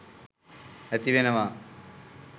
ඇති වෙනවා.